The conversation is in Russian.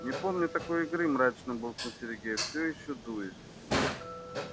не помню такой игры мрачно буркнул сергей все ещё дуясь